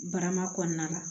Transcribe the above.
Barama kɔnɔna la